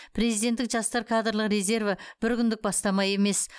президенттік жастар кадрлық резерві бір күндік бастама емес